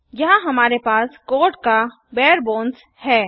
यहाँ हमारे पास कोड का बारे बोन्स है